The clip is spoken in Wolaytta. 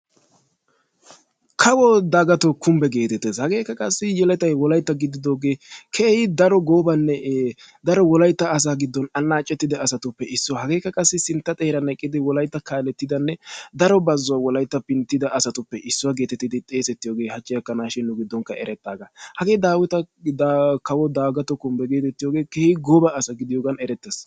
kawo dagatoo kumbee geetettees, hageekka qassi yelettay wolaytta gididoogee daro goobanne daro wolaytta asaa giddon anaacettida asatuppe issuwa. hageekka qassi sintta xeeran eqqidi wolaytta kaalettida asanne daro bazzuwa wolaytta pinttida asatuppe issuwa geetettidi xeesetiyooge hachi gakkanawukka erettidaaga. hagee daawita kawo dagatoo kumbee geetettiyoge eretaga, i gooba asa gidiyogan erettees.